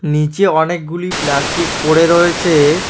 নীচে অনেকগুলি প্লাস্টিক পড়ে রয়েছে।